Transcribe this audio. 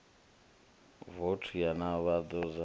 voutu na u ḓivhadzwa ha